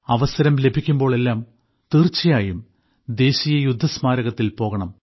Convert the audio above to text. അവസരം ലഭിക്കുമ്പോഴെല്ലാം തീർച്ചയായും ദേശീയയുദ്ധസ്മാരകത്തിൽ പോകണം